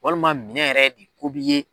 Walima minɛn yɛrɛ de ko b'i ye